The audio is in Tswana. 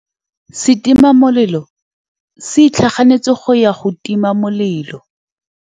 Setima molelô se itlhaganêtse go ya go tima molelô.